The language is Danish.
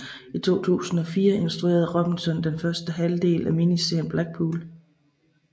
I 2004 instruerede Robinson første halvdel af miniserien Blackpool